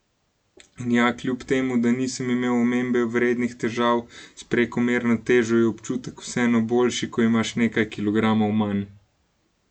In ja, kljub temu da nisem imel omembe vrednih težav s prekomerno težo, je občutek vseeno boljši, ko imaš nekaj kilogramov manj!